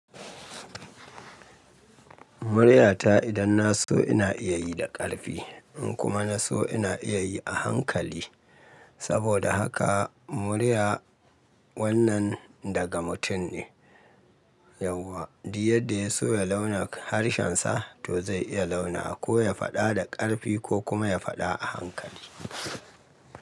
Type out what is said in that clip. Muryata idan na so ina iya yi da ƙarfi in kuma na so ina iya yi a hankali. Saboda haka murya wannan daga mutum ne yawwa, duk yadda ya so ya launa harshensa to zai iya launa wa. Ko ya faɗa da ƙarfi ko kuma ya faɗa a hankali.